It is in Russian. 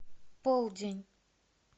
полдень